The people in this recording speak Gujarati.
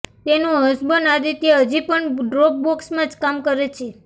તેનો હસબન્ડ આદિત્ય હજી પણ ડ્રોપબોક્સમાં જ કામ કરે છે